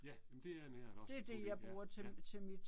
Ja men det er en ært også, putte i ja ja